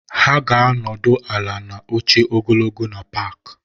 Ha ga-anọdụ ala na oche ogologo na paaki.